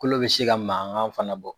Kolo bɛ se ka mankan fana bɔ.